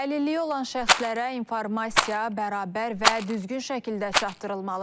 Əlilliyi olan şəxslərə informasiya bərabər və düzgün şəkildə çatdırılmalıdır.